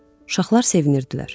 Uşaqlar sevinirdilər.